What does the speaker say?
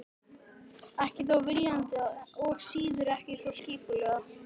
Ekki þó viljandi og síður en svo skipulega.